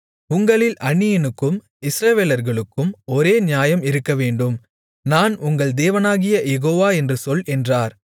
உங்களில் அந்நியனுக்கும் இஸ்ரவேலர்களுக்கும் ஒரே நியாயம் இருக்கவேண்டும் நான் உங்கள் தேவனாகிய யெகோவா என்று சொல் என்றார்